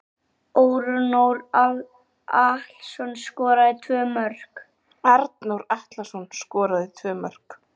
Arnór Atlason skoraði tvö mörk.